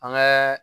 An kɛ